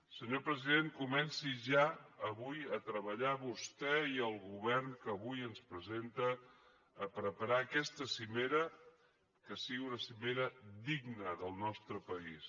senyor president comencin ja avui a treballar vostè i el govern que avui ens presenta per preparar aquesta cimera que sigui una cimera digna del nostre país